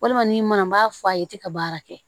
Walima ni mana n b'a fɔ a ye tɛ ka baara kɛ